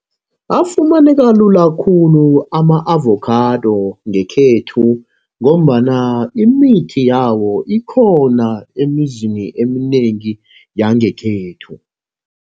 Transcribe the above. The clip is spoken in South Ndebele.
Afumaneka lula khulu ama-avokhado ngekhethu, ngombana imithi yawo ikhona emizini eminengi yangekhethu.